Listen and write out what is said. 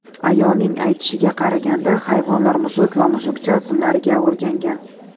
Ayolning aytishiga qaraganda, hayvonlar Mushuk va Mushukcha ismlariga o‘rgangan.